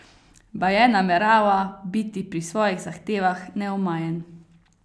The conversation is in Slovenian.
Baje namerava biti pri svojih zahtevah neomajen.